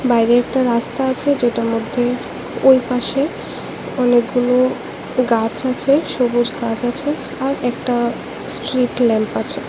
বাইরে একটা রাস্তা আছে যেটার মধ্যে ওই পাশে অনেকগুলো গাছ আছে সবুজ গাছ আছে আর একটা স্ট্রিট ল্যাম্প আছে।